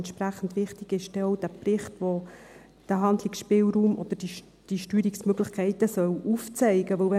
Entsprechend wichtig ist denn auch dieser Bericht, der diesen Handlungsspielraum oder diese Steuerungsmöglichkeiten aufzeigen soll, denn: